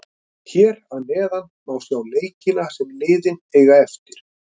Hér að neðan má sjá leikina sem liðin eiga eftir: